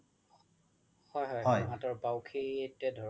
হয় হয় হাতৰ বাউখিতে ধৰক